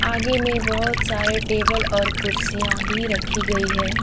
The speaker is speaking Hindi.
आगे मैं बहुत सारे टेबल और कुर्सियां भी रखी गई है ।